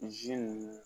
ninnu